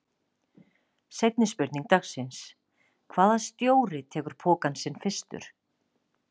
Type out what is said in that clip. Seinni spurning dagsins: Hvaða stjóri tekur pokann sinn fyrstur?